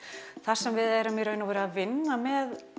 þar sem við erum að vinna með